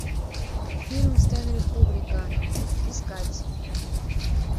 фильм стэнли кубрика искать